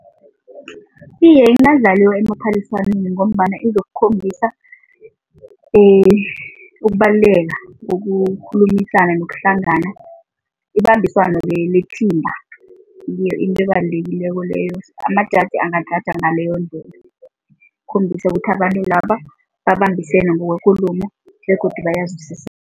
Iye, ingadlaliwa emaphaliswaneni ngombana izokukhombisa ukubaluleka bokukhulumisana nokuhlangana, ibambiswano ngiyo into ebalulekileko leyo, amajaji angajaja ngaleyondlela khombisa ukuthi abantu laba babambisane ngokwekulumo begodu bayayizwisisa.